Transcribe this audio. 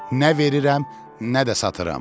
Nə verirəm, nə də satıram.